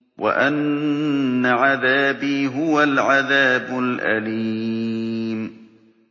وَأَنَّ عَذَابِي هُوَ الْعَذَابُ الْأَلِيمُ